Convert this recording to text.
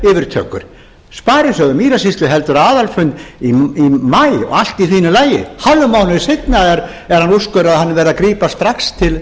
yfirtökur sparisjóður mýrasýslu heldur aðalfund í maí og allt í fínu lagi hálfum mánuði seinna er úrskurðað að hann verði að grípa strax